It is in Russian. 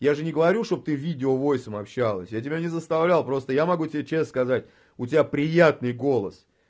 я же не говорю чтобы ты видео войском общалась я тебя не заставлял просто я могу тебе честно сказать у тебя приятный голос